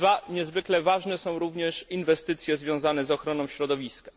Niezwykle ważne są również inwestycje związane z ochroną środowiska.